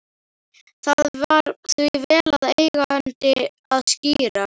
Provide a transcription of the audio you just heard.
Það var því vel við eigandi að skíra